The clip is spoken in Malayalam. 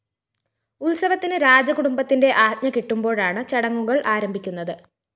ഉത്സവത്തിന് രാജകുടുംബത്തിന്റെ ആജ്ഞ കിട്ടുമ്പോഴാണ് ചടങ്ങുകള്‍ ആരംഭിക്കുന്നത്